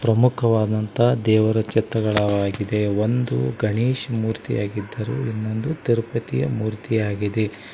ಪ್ರಮುಖವಾದಂತ ದೇವರ ಚಿತ್ರಗಳಾಗಿದೇ ಒಂದು ಗಣೇಶ ಮೂರ್ತಿಯಾಗಿದ್ದರು ಇನ್ನೊಂದು ತಿರುಪತಿ ಮೂರ್ತಿಯಾಗಿದೆ.